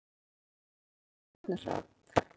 Af hverju kemur stjörnuhrap?